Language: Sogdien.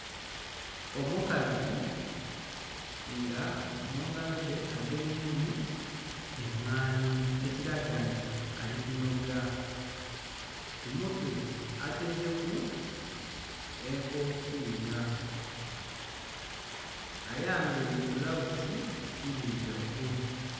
Omukazi nga mungalo dhe agemyemu emwanhi ekilaga nti ali kunhoga ku mutwe ataireku enkofira ayambaire bbulaghuzi ndhirugavu.